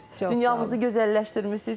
Dünyamızı gözəlləşdirmisiz.